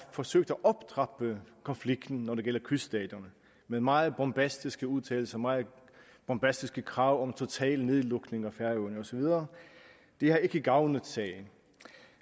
forsøgt at optrappe konflikten når det gælder kyststaterne med meget bombastiske udtalelser meget bombastiske krav om total nedlukning af færøerne og så videre det har ikke gavnet sagen